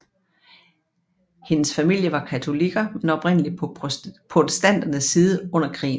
Hendes familie var katolikker men oprindeligt på protestanternes side under krigen